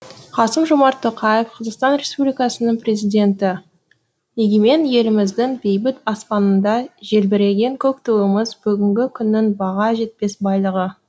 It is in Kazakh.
қасым жомарт тоқаев қазақстан республикасының президенті егемен еліміздің бейбіт аспанында желбіреген көк туымыз бүгінгі күннің баға жетпес байлығы